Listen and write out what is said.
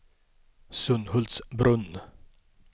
Sunhultsbrunn